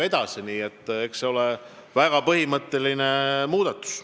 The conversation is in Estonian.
Nii et eks see on väga põhimõtteline muudatus.